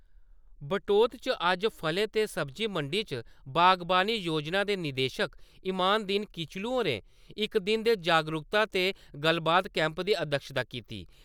बटोत च अज्ज फले ते सब्जी मंडी च बागवानी योजना दे निदेशक इमाम दीन किचलू होरें इक दिने दे जागरुकता ते गल्लबात कैम्प दी अध्यक्षता किती।